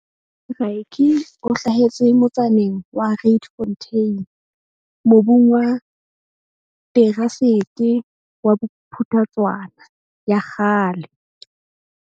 Rykie o hlahetse motsaneng wa Rietfontein mobung wa terasete wa Bophuthatswana ya kgale.